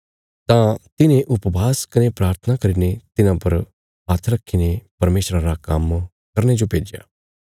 तां तिन्हें उपवास कने प्राथना करीने तिन्हां परा हात्थ रखीने परमेशरा रा काम्म करने जो भेज्या